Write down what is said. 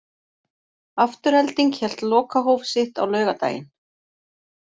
Afturelding hélt lokahóf sitt á laugardaginn.